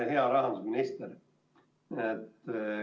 Hea rahandusminister!